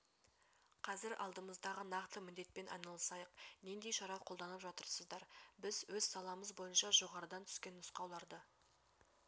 қазір алдымыздағы нақты міндетпен айналысайық нендей шара қолданып жатырсыздар біз өз саламыз бойынша жоғарыдан түскен нұсқауларды